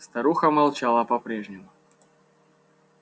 старуха молчала по прежнему